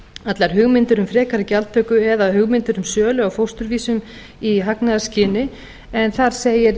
allar hugmyndir um frekari gjaldtöku eða hugmyndir um sölu á fósturvísum í hagnaðarskyni en þar segir